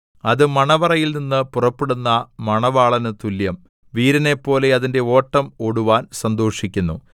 അത് മണവറയിൽനിന്ന് പുറപ്പെടുന്ന മണവാളന് തുല്യം വീരനെപ്പോലെ അതിന്റെ ഓട്ടം ഓടുവാൻ സന്തോഷിക്കുന്നു